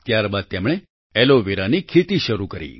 ત્યારબાદ તેમણે એલોવેરાની ખેતી શરૂ કરી